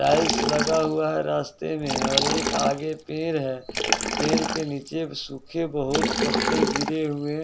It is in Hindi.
टाइल्स लगा हुआ है रास्ते में और एक आगे पेर है पेर के नीचे सुखे बहुत पत्ते गिरे हुए--